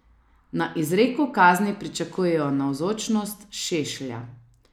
Na izreku kazni pričakujejo navzočnost Šešlja.